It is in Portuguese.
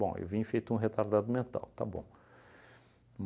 Bom, eu vim feito um retardado mental, tá bom.